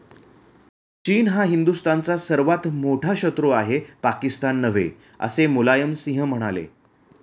चीन हा हिंदुस्थानचा सर्वात मोठा शत्रू आहे, पाकिस्तान नव्हे, असे मुलायमसिंह म्हणाले.